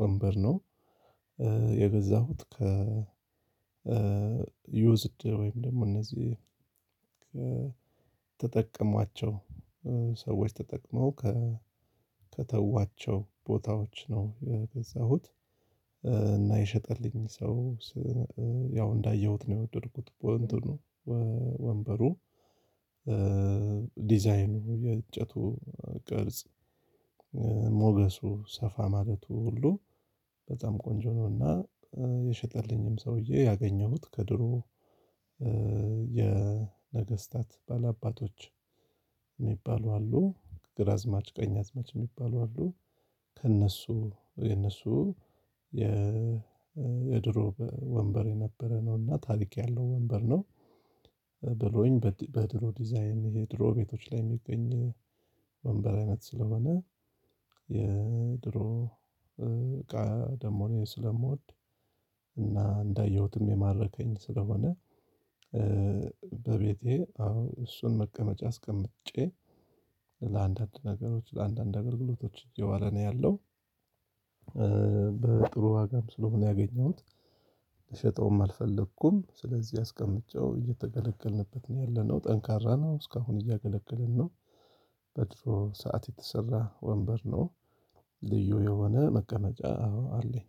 ወንበር ነው። የገዛሁት ከ ይውዝድ ወይም ደግሞ እነዚህ ተጠቀሟቸው ሰዎች ተጠቅመው ከተዋቸው ቦታዎች ነው የገዛሁት። እና የሸጠልኝ ሰው ያው እንዳየሁት ነው የወደድኩት። ወንበሩ ዲዛይኑ የእንጨቱ ቅርጽ ሞገሱ ሰፋ ማለቱ ሁሉ በጣም ቆንጆ ነውና። የሸጠልኝም ሰውዬ ያገኘሁት ከድሮ የነገስታት ባላባቶች የሚባሉ አሉ ግራዝማች ቀኝ አዝማች የሚባሉ አሉ። ከእነሱ የእነሱ የድሮ ወንበር የነበረ ነውና ታሪክ ያለው ወንበር ነው። ብሎኝ በጥሩ ዲዛይን የድሮ ቤቶች ላይ የሚገኝ ወንበር አይነት ስለሆነ የድሮ እቃ ደግሞ እኔ ስለምወድ እና እንዳየሁትም የማረከኝ ስለሆነ። በቤቴ አዎ እሱን መቀመጫ አስቀምጬ ለአንዳንድ ነገሮች ለአንዳንድ አገልግሎቶች የዋለ ነው ያለው። በጥሩ ዋጋም ስለሆነ ያገኘሁት ልሸጠውም አልፈለኩም ስለዚህ አስቀምጬው እየተገለገልንበት ነው ያለነው ጠንካራ ነው እስካሁን እያገለገለን ነው። በድሮ ሰዓት የተሰራ ወንበር ነው። ልዩ የሆነ መቀመጫ አለኝ።